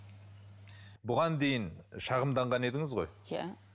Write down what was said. бұған дейін шағымданған едіңіз ғой иә